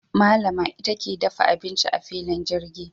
Malama ita ke dafa abinci a filin jirgin.